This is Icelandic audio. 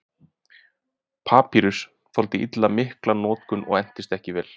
Papýrus þoldi illa mikla notkun og entist ekki vel.